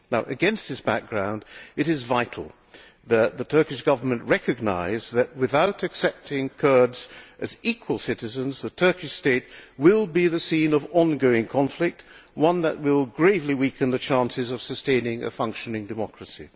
Against this background, it is vital that the Turkish government recognise that, without accepting Kurds as equal citizens, the Turkish state will be the scene of ongoing conflict, one that will gravely weaken the chances of sustaining a functioning democracy.